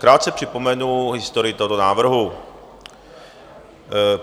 Krátce připomenu historii tohoto návrhu.